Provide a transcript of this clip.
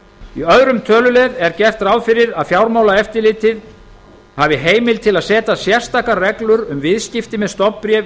í öðrum tölulið er gert ráð fyrir að fjármálaeftirlitið hafi heimild til að setja sérstakar reglur um viðskipti með stofnbréf í